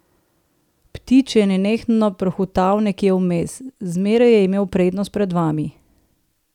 Ptič je nenehno prhutal nekje vmes, zmeraj je imel prednost pred vami.